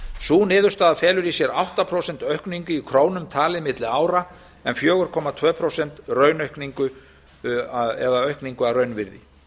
sú niðurstaða felur í sér átta prósent aukningu í krónum talið milli ára en fjóra komma tvö prósent aukningu að raunvirði